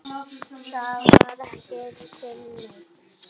Það var ekki til neins.